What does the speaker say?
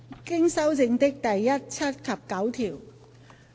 經修正的第1、7及9條。